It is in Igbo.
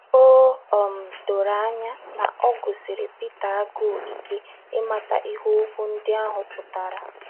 O um doro anya na ọ gụsiri Pita agụụ ike ịmata ihe okwu ndị ahụ pụtara.